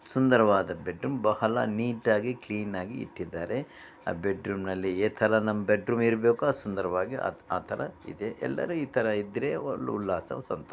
ಸುಂದರವಾದ ಬೆಡ್ಡು ಇದು ನಿಟಾಗಿ ಕ್ಲೀನ್ ಆಗಿ ಇಟ್ಟಿದ್ದಾರೆ ಬೆಡ್ ರೂಂ ನಲ್ಲಿ. ಇದೇ ತರ ಬೆಡ್ರೂಮ್ ಇರಬೇಕು ಆ ಸುಂದರವಾಗಿ ಅದು ಆತರ ಇದೆ ಎಲ್ಲರೂ ಈ ತರ ಇದ್ರೆ ಒಳ್ಳೊಳ್ಳೆ ಆಸಂ ಸಂತೋಷ.